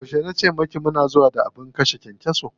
Yauce na ce miki mu na zuwa da abin kashe kyankyaso?